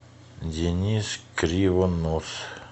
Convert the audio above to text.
денис кривонос